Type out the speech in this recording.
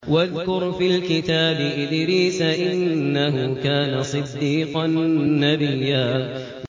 وَاذْكُرْ فِي الْكِتَابِ إِدْرِيسَ ۚ إِنَّهُ كَانَ صِدِّيقًا نَّبِيًّا